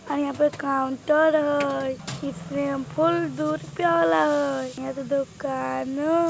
आर यहां पर काउन्टर हय इ सेमपुल दु रुपया वला हय यहां तअ दोकानो --